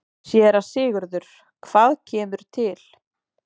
SÉRA SIGURÐUR: Hvað kemur til?